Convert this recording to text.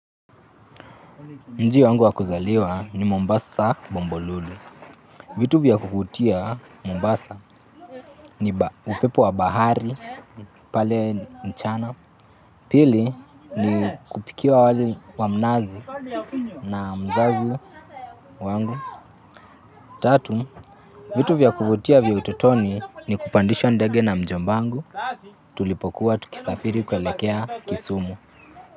Mji wangu wa kuzaliwa ni Mombasa. Bombolulu. Vitu vya kuvutia Mombasa ni upepo wa bahari pale mchana. Pili ni kupikia wali wa mnazi na mzazi wangu. Tatu, vitu vya kuvutia vya utotoni ni kupandishwa ndege na mjombangu. Tulipokuwa tukisafiri kuelekea Kisumu.